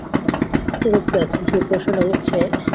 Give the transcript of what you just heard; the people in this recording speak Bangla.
হচ্ছে